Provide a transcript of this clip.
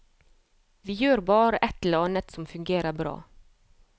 Vi gjør bare et eller annet som fungerer bra.